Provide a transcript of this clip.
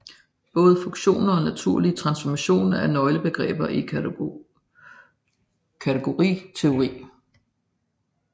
Både funktorer og naturlige transformationer er nøglebegreber i kategoriteori